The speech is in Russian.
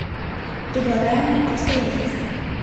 предлагаемые обстоятельства